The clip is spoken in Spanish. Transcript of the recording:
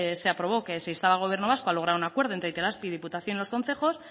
se aprobó que si estaba el gobierno vasco a lograr un acuerdo entre itelazpi diputación y los concejos